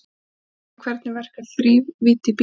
Sjónskynjun Hvernig verkar þrívídd í bíómyndum?